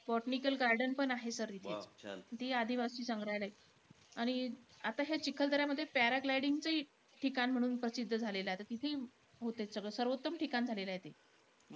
Botanical garden पण आहे sir तिथे . तेही आदिवासी संग्रहालय. आणि आता ह्या चिखलदऱ्यामध्ये paragliding चं ही ठिकाणं म्हणून प्रसिद्ध झालेलं आहे तिथंही होतंय सगळं. सर्वोत्तम ठिकाण झालेलयं ते.